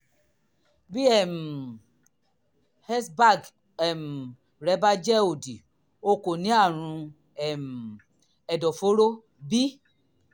bí um hbsag um rẹ bá jẹ òdì o kò ní àrùn um ẹ̀dọ̀fóró b